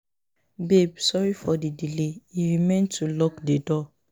Babe sorry for the delay e remain to lock the door